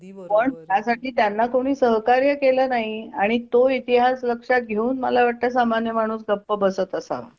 पण त्यासाठी त्यांना कोणी सहकार्य केले नाही आणि तोइतिहास लक्षात घेऊन मला वाटतं सामान्य माणूस गप्प बसत असावा